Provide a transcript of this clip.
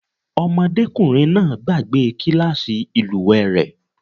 Ọmọdékùnrin náà gbàgbe kílàsì ìlúwè rẹ̀.